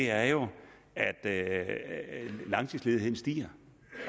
er jo at langtidsledigheden stiger